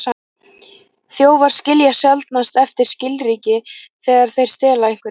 Þjófar skilja sjaldnast eftir skilríki þegar þeir stela einhverju.